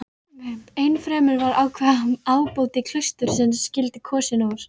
Ennfremur var ákveðið að ábóti klaustursins skyldi kosinn úr